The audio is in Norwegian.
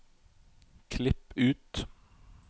Klipp ut